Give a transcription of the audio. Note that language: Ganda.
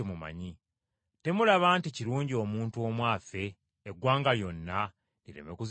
Temulaba nti kirungi omuntu omu afe, eggwanga lyonna lireme kuzikirira?”